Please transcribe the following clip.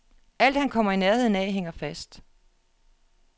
Alt, han kommer i nærheden af, hænger fast.